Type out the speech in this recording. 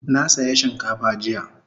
Na saya shinkafa jiya